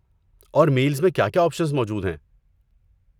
اور میلز میں کیا کیا آپشنز موجود ہیں؟